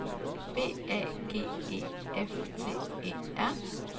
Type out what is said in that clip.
B A G E F T E R